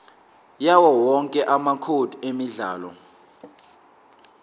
yawowonke amacode emidlalo